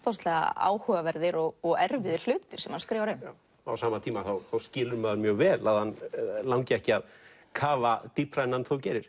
áhugaverðir og erfiðir hlutir sem hann skrifar um á sama tíma skilur mjög vel að hann langi ekki að kafa dýpra en hann þó gerir